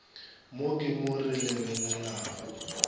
mo ke mo re lebelelago